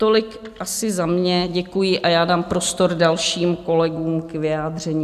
Tolik asi za mě, děkuji, a já dám prostor dalším kolegům k vyjádření.